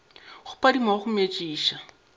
go phadima wa go metšiša